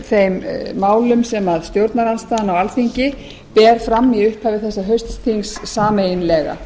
þeim málum sem stjórnarandstaðan á alþingi ber fram í upphafi þessa hausts sameiginlega